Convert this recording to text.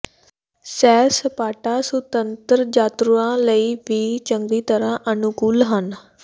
ਸੈਰ ਸਪਾਟਾ ਸੁਤੰਤਰ ਯਾਤਰੂਆਂ ਲਈ ਵੀ ਚੰਗੀ ਤਰ੍ਹਾਂ ਅਨੁਕੂਲ ਹਨ